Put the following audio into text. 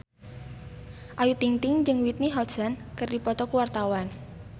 Ayu Ting-ting jeung Whitney Houston keur dipoto ku wartawan